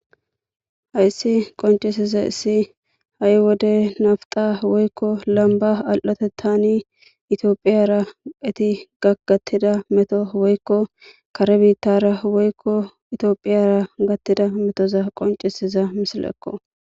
Hayissi qoncisiza issi ha'i wode nafta woyikko lamba al'ote tani itiophiyara eti gaggattida meto woykko kare biittara woykko itiophiyara gattida metoza qoncisiza misilekko